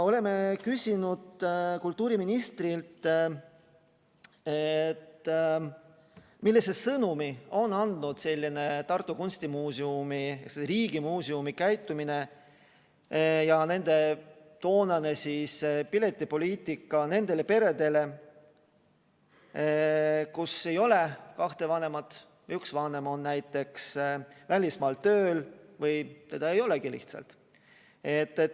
Oleme küsinud kultuuriministrilt, millise sõnumi on andnud Tartu Kunstimuuseumi kui riigimuuseumi selline käitumine ja nende toonane piletipoliitika nendele peredele, kus ei ole kahte vanemat või üks vanem on näiteks välismaal tööl või teda ei olegi lihtsalt.